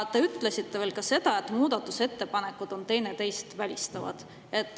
Te ütlesite veel seda, et muudatusettepanekud on teineteist välistavad.